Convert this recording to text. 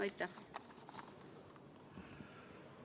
Aitäh!